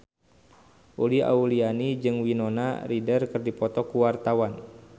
Uli Auliani jeung Winona Ryder keur dipoto ku wartawan